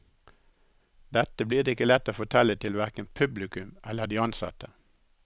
Dette blir det ikke lett å fortelle til hverken publikum eller de ansatte.